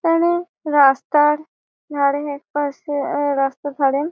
এখানে রাস্তার ধারে একপাশে অ্যা রাস্তার ধারে--